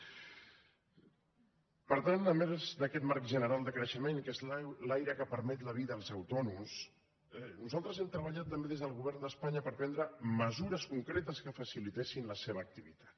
per tant a més d’aquest marc general de creixement que és l’aire que permet la vida als autònoms nosaltres hem treballat també des del govern d’espanya per prendre mesures concretes que facilitessin la seva activitat